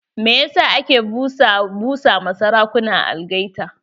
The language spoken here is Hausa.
Me yasa ake busa ma sarakuna algaita?